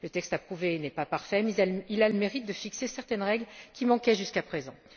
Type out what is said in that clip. Le texte approuvé n'est pas parfait, mais il a le mérite de fixer certaines règles qui manquaient jusqu'à présent.